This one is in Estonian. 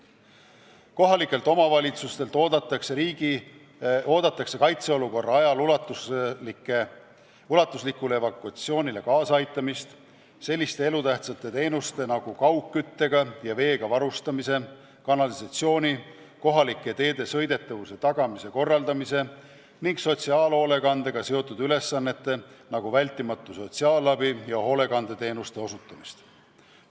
Kohalikelt omavalitsustelt oodatakse kaitseolukorra ajal ulatuslikule evakuatsioonile kaasaaitamist, selliste elutähtsate teenuste nagu kaugküttega ja veega varustamise, kanalisatsiooni, kohalike teede sõidetavuse tagamise korraldamise ning sotsiaalhoolekandega seotud ülesannete, nagu vältimatu sotsiaalabi ja hoolekandeteenuste osutamist.